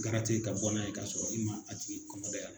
ka bɔn n'a ye k'a sɔrɔ i ma a tigi kɔnɔ dayɛlɛ